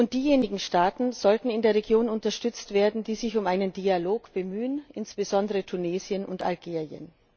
Diejenigen Staaten in der Region sollten unterstützt werden, die sich um einen Dialog bemühen, insbesondere Tunesien und Algerien.